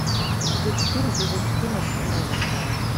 эпизод четыре сезон четырнадцать новенькая